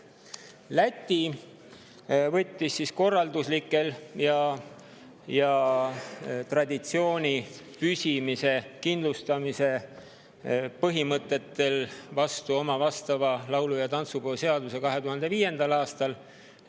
Läti võttis korralduslikest ning traditsiooni püsimise ja kindlustamise põhimõtetest oma laulu‑ ja tantsupeo seaduse vastu 2005. aastal.